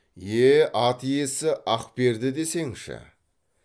е е ат иесі ақперді десеңші